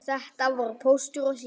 Þetta voru Póstur og Sími.